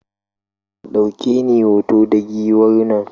Ka ɗauke ni hoto da Giwar nan?